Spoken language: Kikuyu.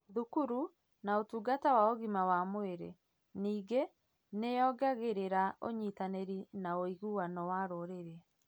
thukuru, na ũtungata wa ũgima wa mwĩrĩ. Ningĩ ,nĩ yongagĩrĩra ũnyitanĩri na ũiguano wa rũrĩrĩ